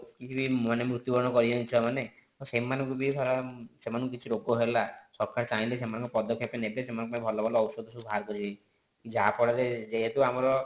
କିଛି ମାନେ ମୃତ୍ୟୁ ବରଣ କରି ଯାନ୍ତି ଛୁଆ ମାନେ ତ ସେମାନଙ୍କୁ ବି ଧାର ସେମାନକୁ କିଛି ରୋଗ ହେଲା ସରକାର ଚାହିଁଲେ ସେମାନଙ୍କ ପଦକ୍ଷେପ ନେବେ ସେନାନଙ୍କ ପାଇଁ ଭଲ ଭଲ ଔଷଧ ସବୁ ବାହାର କରିବେ ଯାହା ଫଳରେ ଯେହେତୁ ଆମର